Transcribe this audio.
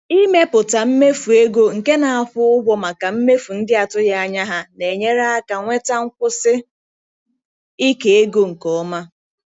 Ịmepụta mmefu ego nke na-akwụ ụgwọ maka mmefu ndị atụghị anya ha na-enyere aka nweta nkwụsi ike ego nke ọma.